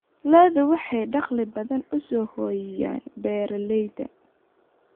Lo'du waxay dakhli badan u soo hoyiyaan beeralayda.